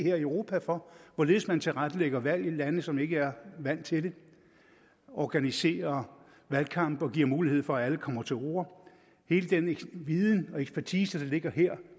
i europa for hvorledes man tilrettelægger valg i lande som ikke er vant til det organiserer valgkamp og giver mulighed for at alle kommer til orde hele denne viden og ekspertise der ligger her